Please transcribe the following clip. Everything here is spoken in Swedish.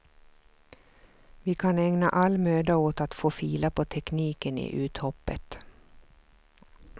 Vi kan ägna all möda åt att få fila på tekniken i uthoppet.